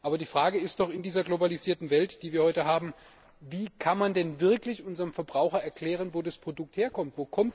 Aber die Frage ist doch in dieser globalisierten Welt, die wir heute haben Wie kann man denn wirklich unserem Verbraucher erklären, wo ein Produkt herkommt?